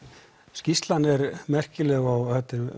skýrslan er merkileg og